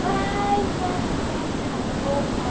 Vai já tirar essa roupa?